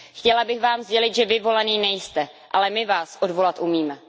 Chtěla bych Vám sdělit, že Vy volený nejste, ale my Vás odvolat umíme.